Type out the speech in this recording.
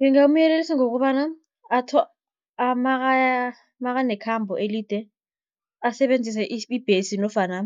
Ngingamyelelisa ngokobana makanekhambo elide asebenzise ibhesi nofana